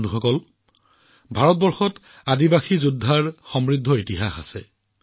বন্ধুসকল ভাৰতবৰ্ষত জনজাতীয় যোদ্ধাৰ চহকী ইতিহাস আছে